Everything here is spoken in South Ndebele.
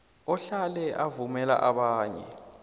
ahlale avumela abanye